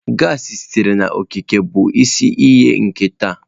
Gassi sitere n'okike bụ isi iyi ike taa.